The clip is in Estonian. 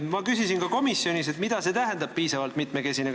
Ma küsisin ka komisjonis, mida see "piisavalt mitmekesine" tähendab.